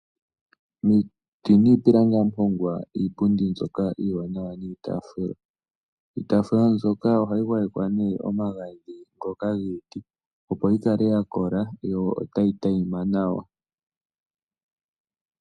Miiti niipilangi ohamu hongwa iipundi mbyoka iiwanawa niitaafula. Iitafula mbyoka ohayi gwayekwa nee omagadhi ngoka giiti, opo yi kale ya kola yo otayi tayima nawa.